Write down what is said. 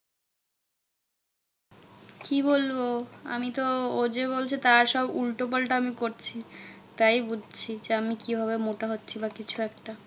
কি বলবো? আমি তো ও যে বলছে তার সব উল্টো পাল্টা আমি করছি। তাই বুঝছি যে, আমি কিভাবে মোটা হচ্ছি বা কিছু একটা।